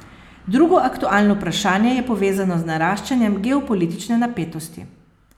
Drugo aktualno vprašanje je povezano z naraščanjem geopolitične napetosti.